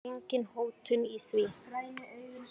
Engin hótun í því.